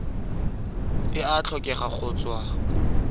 e a tlhokega go tswa